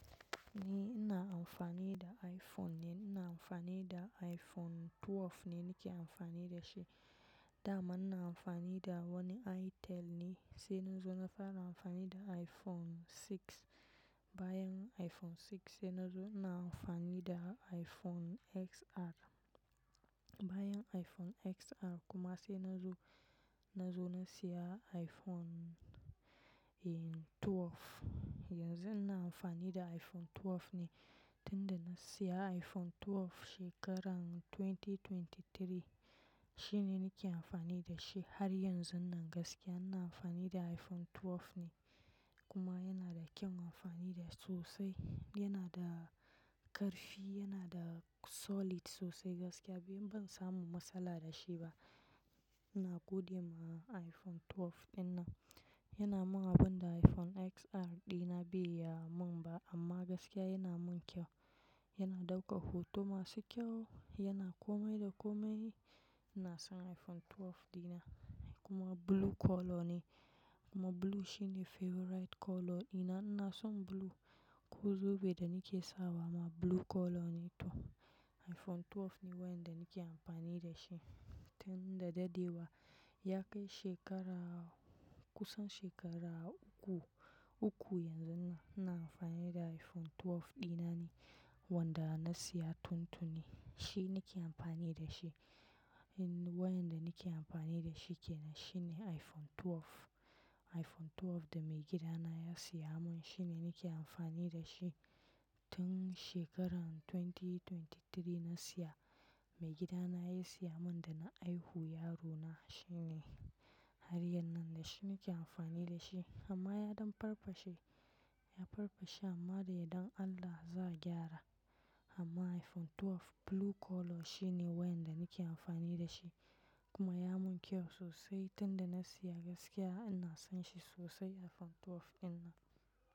Ni ina amfani da iPhone ne, ina amfani da iPhone 12 ne nake amfani da shi. Da amma ina amfani da wani Itel ne sai na zo na fara amfani da iPhone 6. Bayan iPhone 6 sai na zo ina amfani da iPhone XR. Bayan iPhone XR kuma sai na zo, na zo na siya iPhone, eh, 12. Yanzu ina amfani da iPhone 12 ne. Tunda na siya iPhone 12 shekaran 2023 shine nake amfani da shi har yanzun nan gaskiya ina amfani da iPhone 12 ne. Kuma yana da kyan amfani da sosai. Yana da ƙarfi, yana da solid sosai gaskiya. Ban samu matsala da shi ba. Ina godiya ma iPhone 12 dina. Yana mun abin da iPhone XR dina bai ya mun ba amma gaskiya yana mun kyau. Yana ɗaukan hoto masu kyau, yana komai da komai. Ina son iPhone 12 dina kuma blue color ne kuma blue shine favorite color dina. Ina son blue. Ko zobe da nake sawa ma blue color ne toh iPhone 12 ne wayan da nake amfani da shi. Tun da dadewa ya kai shekara kusan shekara uku, uku yanzuna ina amfani da iPhone 12 dina ne wanda na siya tuntuni. Shi nake amfani da shi. Wayan da nake amfani da shi ke nan shine iPhone 12. iPhone 12 da maigidana ya siya mun shine nake amfani da shi. Tun shekaran 2023 na siya. Maigidana ya siya mun da na aihu yarona shine. Har yanzu nan da shi nake amfani da shi amma ya ɗan farfashe. Ya farfashe amma da yardar Allah za'a gyara. Amma iPhone 12 blue color shine wayan da nake amfani da shi kuma ya mun kyau sosai. Tunda na siya gaskiya ina son shi sosai iPhone 12 dina.